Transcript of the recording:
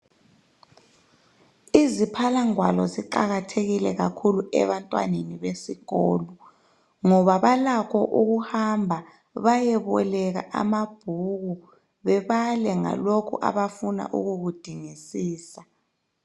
Izithwalangwalo ziqakathekile kakhulu ebantwaneni besikolo ngoba balakho ukuhamba bayeboleka amabhuku bebale ngalokho abafuna ukukudingisisa.